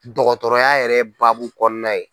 Dɔgɔtɔrɔya yɛrɛ baabu kɔnɔna ye.